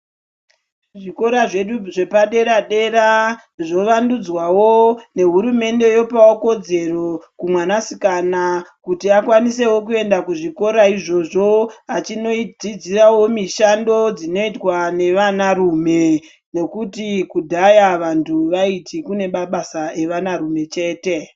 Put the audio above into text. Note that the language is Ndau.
Zvikora zvedu zvepadera dera zvovandudzwawo nehurumende topawo kodzero kumwanasikana kuti akwanisewo kuenda kuzvikora izvozvo achinodzidzirawo mishando dzinoitwa nevana rume nokuti kudhaya vantu vaiti kune mabasa evanarume chete.